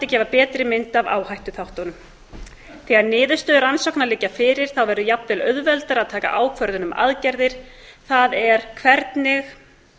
gefa betri mynd af áhættuþáttunum þegar niðurstöður rannsókna liggja fyrir verður jafnvel auðveldara að taka ákvörðun um aðgerðir það er hvernig